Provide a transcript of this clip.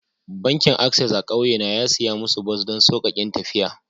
Bankin access a'kauye na ya siya musu bas don saukaken tafiya.